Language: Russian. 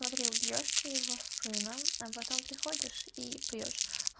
смотри убьёшь ты его сына а потом приходишь и пьёшь